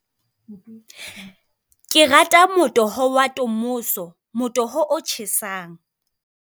Ke rata motoho wa tomoso, motoho o tjhesang.